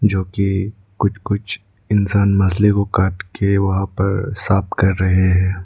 जोकि कुछ कुछ इंसान मछली को काटके वहां पर साफ कर रहे है।